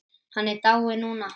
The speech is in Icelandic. Hann er dáinn núna.